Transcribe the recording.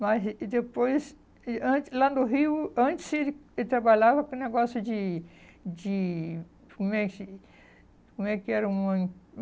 Mas e depois, e antes lá no Rio, antes ele trabalhava para um negócio de de... como é que era uma?